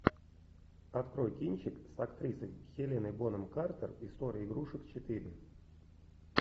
открой кинчик с актрисой хеленой бонем картер история игрушек четыре